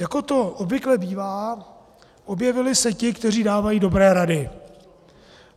Jako to obvykle bývá, objevili se ti, kteří dávají dobré rady.